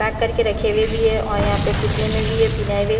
pack करके रखे हुए भी है और यहां पे पुतले में भी है पिन्हाए हुए--